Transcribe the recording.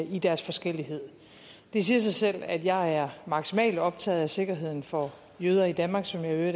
i deres forskellighed det siger sig selv at jeg er maksimalt optaget af sikkerheden for jøder i danmark som jeg i